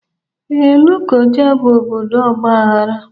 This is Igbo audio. Ee, Lokoja bụ obodo ọgbaghara